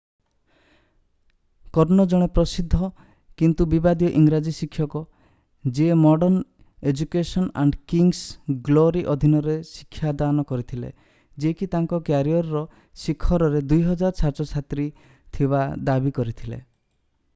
କର୍ନୋ ଜଣେ ପ୍ରସିଦ୍ଧ କିନ୍ତୁ ବିବାଦୀୟ ଇଂରାଜୀ ଶିକ୍ଷକ ଯିଏ modern education and king's glory ଅଧୀନରେ ଶିକ୍ଷାଦାନ କରିଥିଲେ ଯିଏକି ତାଙ୍କ କ୍ୟାରିୟର୍‌ର ଶିଖରରେ 9000 ଛାତ୍ରଛାତ୍ରୀ ଥିବା ଦାବି କରିଥିଲେ ।